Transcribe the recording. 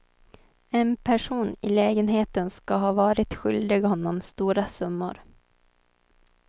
En person i lägenheten ska ha varit skyldig honom stora summor.